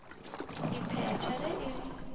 e phethe ge e le